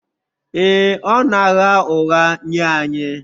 Ee, ọ na-agha ụgha nye anyị